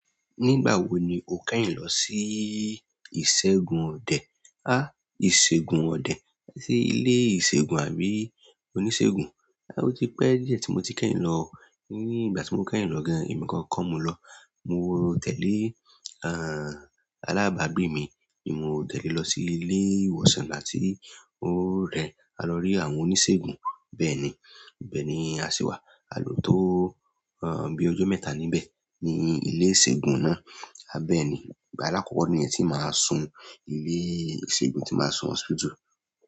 Nígbà wo ni o kẹ́yìn lọ sí ìṣẹ́gun ọdẹ. Háà, ìṣègùn ọdẹ. Ṣé ilé ìṣègùn àbí oníṣègùn? Rárá, ó ti pẹ́. Díẹ̀ tí mo ti kẹ́yìn lọ. Ní ìgbà tí mo kẹ́yìn lọ gan, èmi gan kọ́ mo lọ. Mo tẹ̀lé, àn, alábàágbé mi. Nimo tẹ̀lé lọ sí ilé ìwòsàn nígbà tí ó rẹ̀ẹ́. A lọ rí àwọn oníṣègùn. Bẹ́ẹ̀ni, ibẹ̀ ni a ṣìwà. A lò tó, àn, bí ojó mẹ́ta níbẹ̀ ní ilé ìṣègùn náà. A bẹ́ẹ̀ ni. Ìgbà álàkọ́kọ́ nìyẹn tí màá sún ilé ìṣègùn tí màá sún hospital.